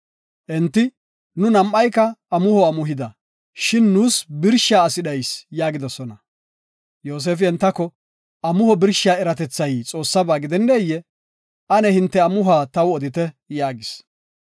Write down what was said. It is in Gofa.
Enti, “Nu nam7ayka amuho amuhida, shin nuus birshiya asi dhayis” yaagidosona. Yoosefi entako, “Amuho birshiya eratethay Xoossaba gidenneyee? Ane hinte amuhuwa taw odite” yaagis.